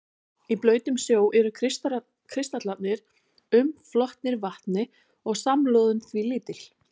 Í blautum snjó eru kristallarnir umflotnir vatni og samloðun því lítil.